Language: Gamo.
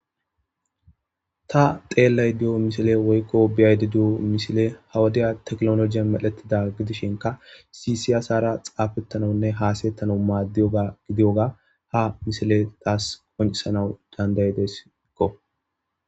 ta xeellay diyo misile woykko biyayde diyo mishile hawadiya tekloloje medhetida gidishinka sisiyasara xaafettanawunne haasayettanau maaddiyoa gidiyoga ha misile taas konisanau dandayideskko